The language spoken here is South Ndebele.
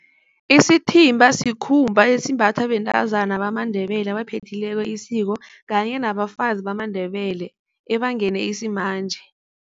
Isithimba sikhumba esimbathwa bentazana bamaNdebele abaphethileko isiko, kanye nabafazi bamaNdebele ebangene isimanje.